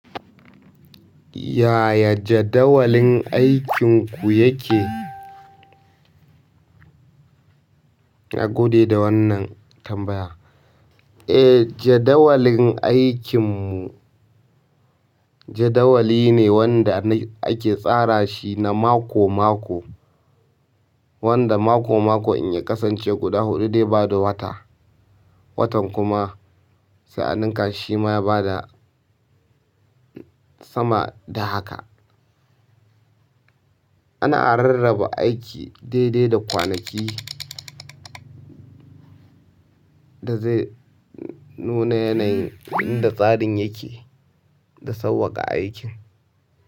Yaya jadawalin aikinku yake? Na gode da wannan tambaya. E jadawalin aikin mu jadawali ne wanda ake tsarashi na mako-mako, wanda mako-mako idan ya kasan ce guda huɗu zai bada wata, watan kuma shima sai a nunka shi ma ya bada sama da haka. Ana rarraba aiki daidai da kwanaki da zai nuna yanayin yadda tsarin yake da sauƙaƙa aikin.